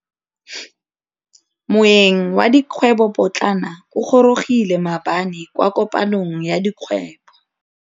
Moêng wa dikgwêbô pôtlana o gorogile maabane kwa kopanong ya dikgwêbô.